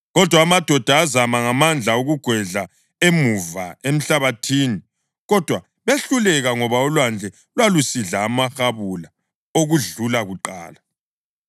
Kodwa amadoda azama ngamandla ukugwedlela emuva emhlabathini. Kodwa behluleka ngoba ulwandle lwaselusidla amahabula okudlula kuqala.